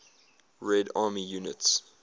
red army units